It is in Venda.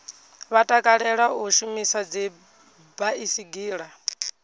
vha takalela u shumisa dzibaisigila